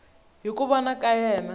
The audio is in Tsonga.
hi ku vona ka yena